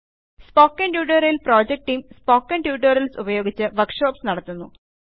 spoken tutorial project team spoken tutorials ഉപയോഗിച്ച് workshops നടത്തുന്നു